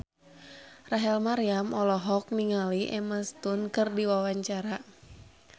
Rachel Maryam olohok ningali Emma Stone keur diwawancara